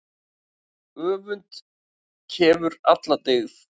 Öfund kefur alla dyggð.